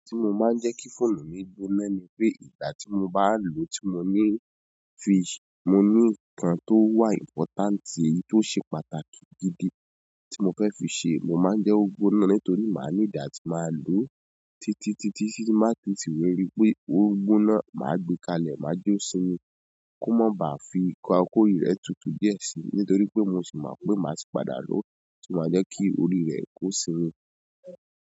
Ẹni tí mo máa ń jẹ́ kí fóònù mi gbóná ni pé ìgbà tí mo bá lòó, tí mo ní fi-- mo ní nǹkan tó wà important, tí ó ṣe pàtàkì gidi tí mo fẹ́ fi ṣe, mo máa ń jẹ́ ó gboná nítorí màá ní di atí màá lòó títí, títí, tí n ba si ti rípé ó n gboná, màá gbé kalẹ̀, màá jó sínú kú ma bá fi nǹkan kó ri rẹ̀ tutù díẹ̀ si nítorí pé mo sì mọ̀ pé màá si padà lòó, ṣo maa jẹ́ kí orí rẹ̀ kó simi.